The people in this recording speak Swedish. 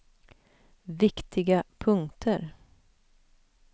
viktiga punkter